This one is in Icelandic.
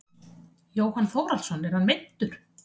Jóhann Þórhallsson er hann meiddur?